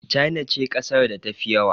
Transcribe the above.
China ce ƙasar da ta fi yawa